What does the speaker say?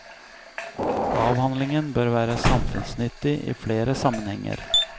Avhandlingen bør være samfunnsnyttig i flere sammenhenger.